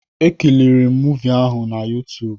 Ekiriri m muuvi ahụ na YuTuub